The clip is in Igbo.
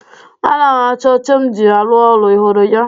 Ana m achọ oche m ji arụ ọrụ. Ị hụrụ ya?